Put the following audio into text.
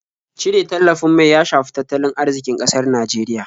Cire tallafin mai ya shafi tattalin arziƙin ƙasar Nijeriya.